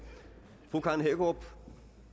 fru karen hækkerup